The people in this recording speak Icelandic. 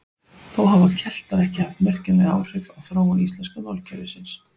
Þó hafa Keltar ekki haft merkjanleg áhrif á þróun íslenska málkerfisins.